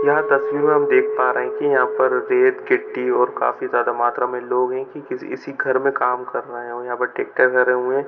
यह तस्वीर हम देख पा रहे है की यहाँ पर रेत गिट्टी और काफी ज्यादा मात्रा में लोहे की किसी इसी घर में काम कर रहा है और यहाँ पर ट्रैक्टर भरे हुए है।